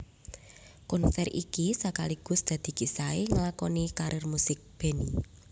Konsèr iki sakaligus dadi kisahé ngelakoni karir musik Benny